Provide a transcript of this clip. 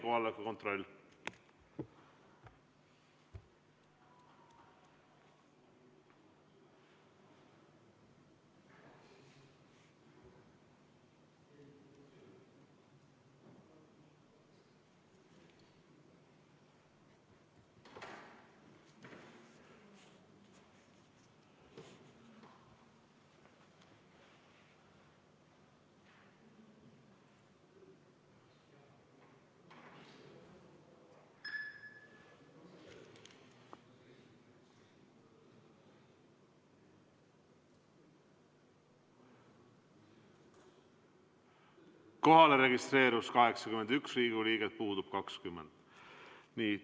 Kohalolijaks registreerus 81 Riigikogu liiget, puudub 20.